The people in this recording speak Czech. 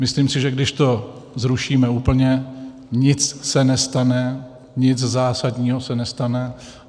Myslím si, že když to zrušíme úplně, nic se nestane, nic zásadního se nestane.